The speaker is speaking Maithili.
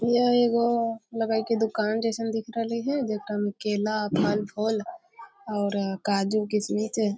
यह एगो लगइ है की दुकान जेसन दिख रहले हय जेकरा मै केला फल-फूल और काजू किसमिस --